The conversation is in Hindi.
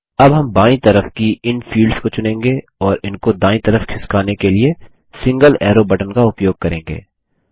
अब हम बायीं तरफ की इन फील्ड्स को चुनेंगे और इनको दायीं तरफ खिसकाने के लिए सिंगल एरो बटन का उपयोग करेंगे